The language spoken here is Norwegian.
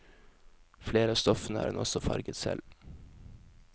Flere av stoffene har hun også farget selv.